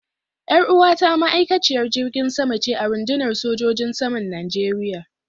Yar uwata ma'aikaciyar jirgin sama ce a rundunar sojojin saman Najeriya.